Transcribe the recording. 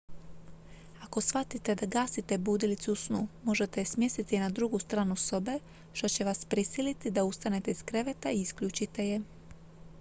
ako shvatite da gasite budilicu u snu možete je smjestiti na drugu stranu sobe što će vas prisiliti da ustanete iz kreveta i isključite je